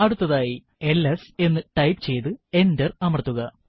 അടുത്തതായി എൽഎസ് എന്ന് ടൈപ്പ് ചെയ്തു എന്റർ അമർത്തുക